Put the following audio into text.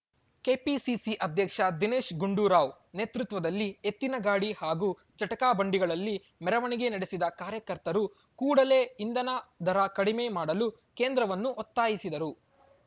KPCC ಅಧ್ಯಕ್ಷ ದಿನೇಶ್‌ ಗುಂಡೂರಾವ್‌ ನೇತೃತ್ವದಲ್ಲಿ ಎತ್ತಿನ ಗಾಡಿ ಹಾಗೂ ಜಟಕಾ ಬಂಡಿಗಳಲ್ಲಿ ಮೆರವಣಿಗೆ ನಡೆಸಿದ ಕಾರ್ಯಕರ್ತರು ಕೂಡಲೇ ಇಂಧನ ದರ ಕಡಿಮೆ ಮಾಡಲು ಕೇಂದ್ರವನ್ನು ಒತ್ತಾಯಿಸಿದರು